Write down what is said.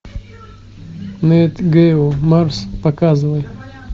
нат гео марс показывай